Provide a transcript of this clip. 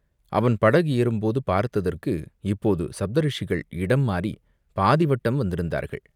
அவன் படகு ஏறும்போது பார்த்ததற்கு இப்போது சப்த ரிஷிகள் இடம் மாறிப் பாதி வட்டம் வந்திருந்தார்கள்.